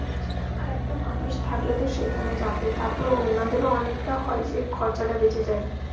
আচ্ছা আচ্ছা আরেকটা মানুষ থাকলে তো সেখানে যাবে তারপর ওনাদের ও অনেকটা হয় যে খরচ টা বেঁচে যায়.